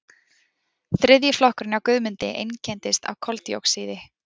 Þriðji flokkurinn hjá Guðmundi einkennist af koldíoxíði.